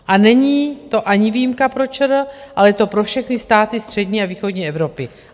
A není to ani výjimka pro ČR, ale je to pro všechny státy střední a východní Evropy.